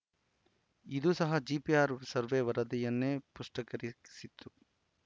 ಇದೂ ಸಹ GPR survey ವರದಿಯನ್ನೇ ಪುಷ್ಟೀಕರಿಸಿತು